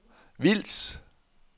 Vils